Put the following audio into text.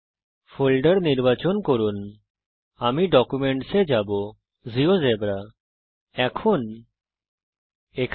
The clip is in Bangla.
ফোল্ডারকে নির্বাচন করুন আমি জীয়োজেব্রা ডকুমেন্টস এ যাব